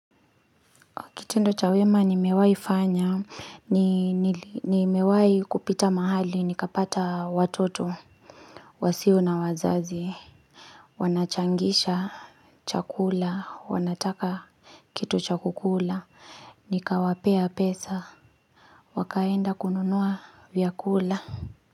Kitendo chawema nimewahi fanya, nimewai kupita mahali, nikapata watoto, wasio na wazazi, wanachangisha chakula, wanataka kitu cha kukula, nikawapea pesa, wakaenda kununua vyakula.